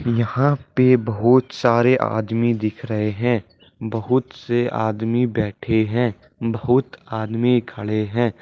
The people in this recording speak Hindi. यहां पे बहुत सारे आदमी दिख रहे हैं बहुत से आदमी बैठे हैं बहुत आदमी खड़े हैं।